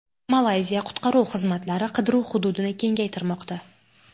Malayziya qutqaruv xizmatlari qidiruv hududini kengaytirmoqda.